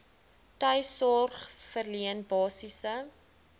tuissorg verleen basiese